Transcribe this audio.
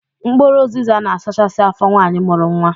Mkpụrụ ụzịza na-asachasị afọ nwaanyi mụrụ nwa.